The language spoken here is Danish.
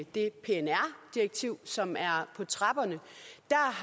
det pnr direktiv som er på trapperne der